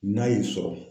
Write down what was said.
N'a y'i sɔrɔ